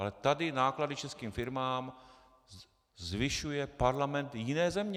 Ale tady náklady českým firmám zvyšuje parlament jiné země.